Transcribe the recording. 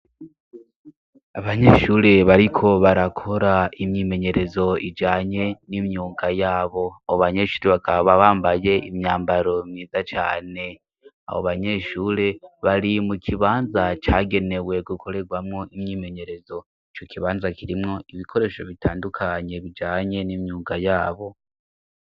Abanyeshure bariko barakora imyimenyerezo ijanye n'imyuga yabo, abo banyeshure bakaba bambaye imyambaro myiza cane, abo banyeshure bari mu kibanza cagenewe gukorerwamo imyimenyerezo. Ico kibanza kirimwo ibikoresho bitandukanye bijanye n'imyuga yabo.